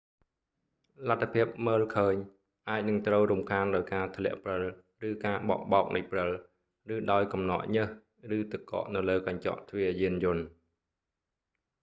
លទ្ធភាពមើលឃើញ អាចនឹងត្រូវរំខានដោយការធ្លាក់ព្រិល ឬការបក់បោកនៃព្រិល ឬដោយកំណកញើស ឬទឹកកកនៅលើកញ្ចក់ទ្វារយានយន្ត